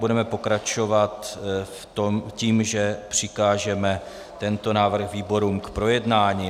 Budeme pokračovat tím, že přikážeme tento návrh výborům k projednání.